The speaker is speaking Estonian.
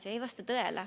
See ei vasta tõele.